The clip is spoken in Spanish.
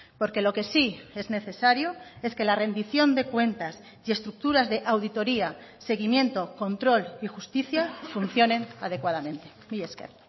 porque lo que sí es necesario es que la rendición de cuentas y estructuras de auditoría seguimiento control y justicia funcionen adecuadamente mila esker